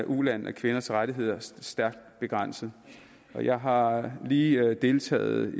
ulande er kvinders rettigheder stærkt begrænsede jeg har lige deltaget